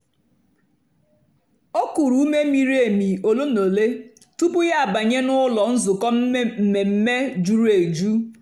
o kùrù ùmè mìrí èmì òlé na òlé tupu ya àbànyè n'ụ́lọ́ nzukọ́ mmèmme jùrù èjù.